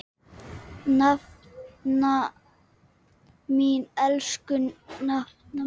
Nafna mín, elsku nafna mín.